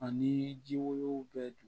Ani ji wolonugu bɛɛ dun